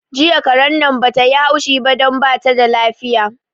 Jiya karen nan bata yi haushi ba don bata da lafiya